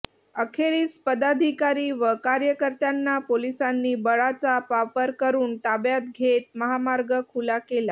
अखेरीस पदाधिकारी व कार्यकर्त्यांना पोलिसांनी बळाचा वापर करुन ताब्यात घेत महामार्ग खुला केला